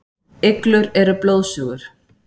Iglur eru blóðsugur.